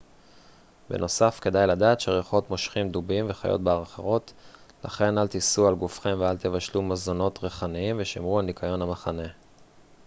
בנוסף כדאי לדעת שריחות מושכים דובים וחיות בר אחרות לכן אל תישאו על גופכם ואל תבשלו מזונות ריחניים ושמרו על ניקיון המחנה